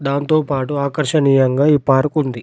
దాంతో పాటు ఆకర్షణీయంగా ఈ పార్కు ఉంది.